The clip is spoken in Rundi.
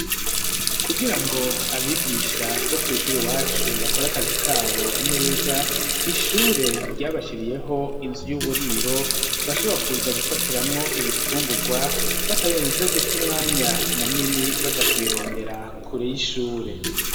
Kugira ngo abigisha bo kw'ishuri Iwacu bakora akazi kabo neza ,ishure ryabashiriyeho inzu y'uburiro, bashobora kuza gufatiramwo ibifungurwa batarinze guta umwanya munini ,baja kubirondera kure y'ishure.